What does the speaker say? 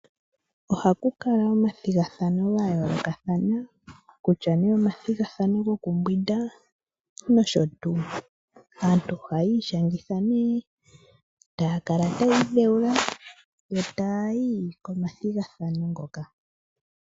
Ohaku kala omathigathano ga yoolokathana kutya ne omathigathano gokumbwinda nosho tuu. Aantu ohayi ishangitha taya kala tayi idhewula yo tayi komathigathano.